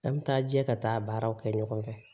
An bɛ taa jɛ ka taa baaraw kɛ ɲɔgɔn fɛ